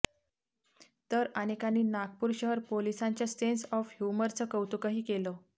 तर अनेकांनी नागपूर शहर पोलिसांच्या सेंस ऑफ ह्युमरचं कौतुकंही केलं